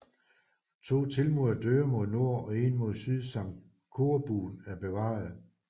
To tilmurede døre mod nord og en mod syd samt korbuen er bevarede